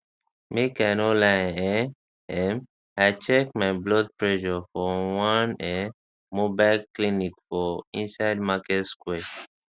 make i no lie um um i check my blood pressure for one um mobile clinic for inside market square market square